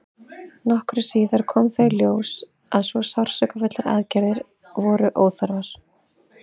nokkru síðar kom þó í ljós að svo sársaukafullar aðgerðir voru óþarfar